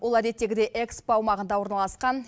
ол әдеттегідей экспо аумағында орналасқан